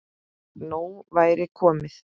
Nóg væri komið.